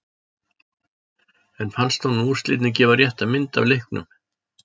En fannst honum úrslitin gefa rétta mynd af leiknum?